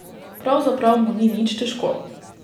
Pravzaprav mu ni nič težko.